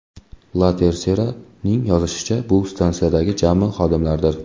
La Tercera’ning yozishicha, bu stansiyadagi jami xodimlardir.